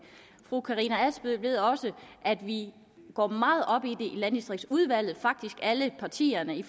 fru karina adsbøl ved også at vi går meget op i i landdistriktsudvalget faktisk alle partierne vi